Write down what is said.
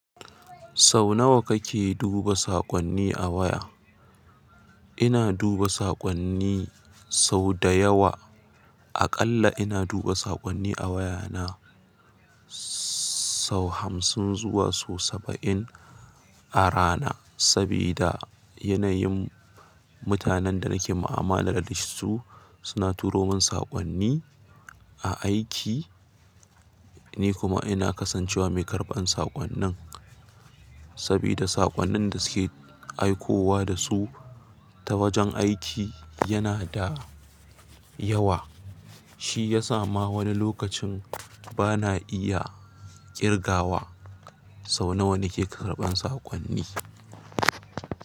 Sau nawa kake duba saƙonni a waya? Ina duba saƙonni sau da yawa. Aƙalla ina duba saƙonni a wayana sau hamsin zuwa sau saba'in a rana. Sabida yanayin mutanen da nake mu'amala da su suna turo min saƙonni a aiki. Ni kuma ina kasancewa mai karɓar saƙonnin, sabida saƙonnin da suke aikowa da su ta wajen aiki yana da yawa. Shi ya sa ma wani lokacin ba na iya ƙirgawa sau nawa nake karɓan saƙonni.